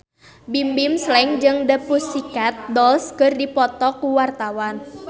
Bimbim Slank jeung The Pussycat Dolls keur dipoto ku wartawan